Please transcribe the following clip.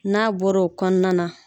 N'a bɔr'o kɔnɔna na